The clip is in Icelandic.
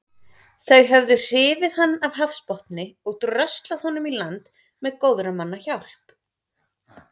Þau höfðu hrifið hann af hafsbotni og dröslað honum í land með góðra manna hjálp.